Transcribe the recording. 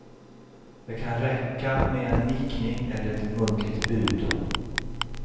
Det kan räcka med en nickning eller ett muntligt bud.